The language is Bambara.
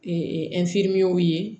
ye